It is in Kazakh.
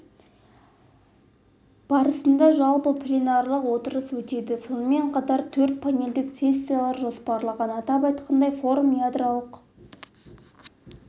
барысында жалпы пленарлық отырыс өтеді сонымен қатар төрт панельдік сессиялар жоспарланған атап айтқанда форумда ядролық